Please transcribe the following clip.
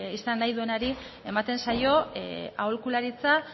izan nahi duenari ematen zaio aholkularitza